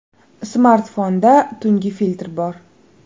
Smartfonda tungi filtr bor.